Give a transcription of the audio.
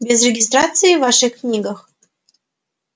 без регистрации в ваших книгах